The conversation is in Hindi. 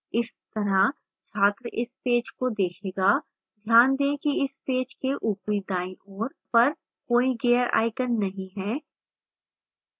इस तरह छात्र इस पेज को देखेगा ध्यान दें कि इस पेज के ऊपरी दाईं ओर पर कोई gear आइकन नहीं है